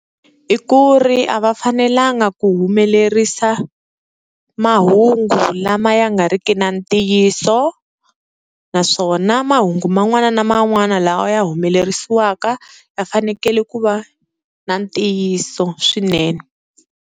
I ku ri a va fanelanga ku humelerisa mahungu lama ya nga ri ki na ntiyiso, naswona mahungu man'wana na man'wana lawa ya humelerisiwaka ya fanekele ku va na ntiyiso swinene.